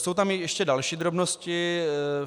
Jsou tam ještě další drobnosti.